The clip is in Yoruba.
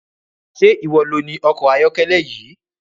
Ṣé iwọ loni ọkọ ayọ́kẹ́lẹ́ yìí?